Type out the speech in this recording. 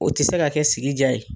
O tɛ se ka kɛ sigi diya ye.